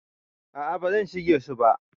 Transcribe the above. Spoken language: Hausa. A'a ba zan shige su ba.